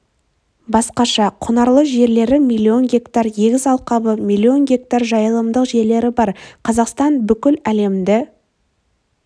басқаша құнарлы жерлері миллион гектар егіс алқабы миллион гектар жайылымдық жерлері бар қазақстан бүкіл әлемді